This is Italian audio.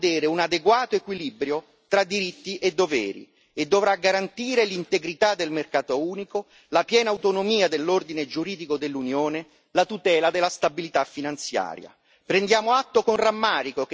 Ma questa relazione dovrà vedere un adeguato equilibrio tra diritti e doveri, e dovrà garantire l'integrità del mercato unico, la piena autonomia dell'ordine giuridico dell'Unione, la tutela della stabilità finanziaria.